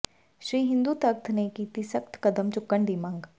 ਸ਼੍ਰੀ ਹਿੰਦੂ ਤਖਤ ਨੇ ਕੀਤੀ ਸਖਤ ਕਦਮ ਚੁੱਕਣ ਦੀ ਮੰਗ